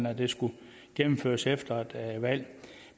at det skulle gennemføres efter et valg